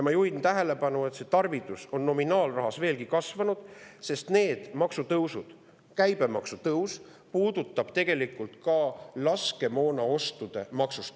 Ma juhin tähelepanu, et see tarvidus on nominaal veelgi kasvanud, sest need maksutõusud, just käibemaksu tõus tegelikult ka laskemoonaostude maksumust.